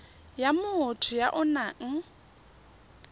ya motho ya o nang